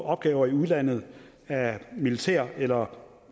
opgaver i udlandet af militær eller